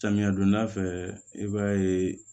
Samiya donda fɛ i b'a ye